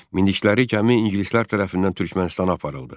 Minikləri gəmi ingilislər tərəfindən Türkmənistana aparıldı.